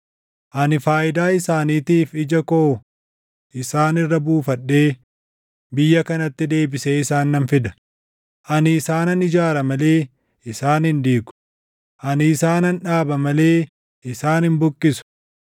Ani faayidaa isaaniitiif ija koo isaan irra buufadhee biyya kanatti deebisee isaan nan fida; ani isaanan ijaara malee isaan hin diigu; ani isaanan dhaaba malee isaan hin buqqisu.